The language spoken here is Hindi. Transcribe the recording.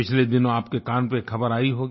पिछले दिनों आपके कान पर एक ख़बर आई होगी